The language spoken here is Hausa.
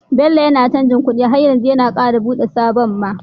Bello yAna canji kuɗi har yanzu ya kara buɗe sabon ma